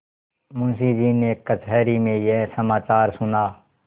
मुंशीजी ने कचहरी में यह समाचार सुना